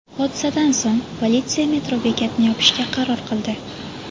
Hodisadan so‘ng politsiya metro bekatini yopishga qaror qildi.